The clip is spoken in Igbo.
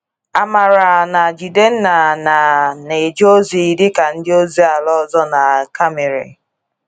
Amarah na Jidenna na - na - eje ozi dị ka ndị ozi ala ọzọ na Camiri